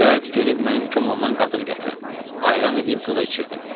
Cəld gedib mənim komamdan qatıq gətirin, ayran eləyib qıza içirdin.